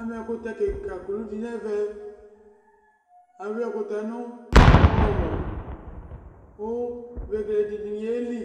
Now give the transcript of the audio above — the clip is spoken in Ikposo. Ama ɛkʋtɛ kika kʋlʋ dɩ nʋ ɛmɛ, awɩ ɛkʋtɛ nʋ ɔwlɔmɔ kʋ vegele dɩnɩ yeli,